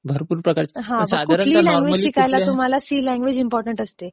साधारणतः काहीही शिकायला तुम्हाला सी लँग्वेज इम्पॉर्टन्ट असते